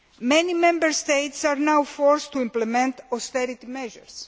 Many Member States are now forced to implement austerity measures.